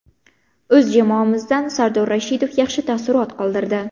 O‘z jamoamizdan Sardor Rashidov yaxshi taassurot qoldirdi.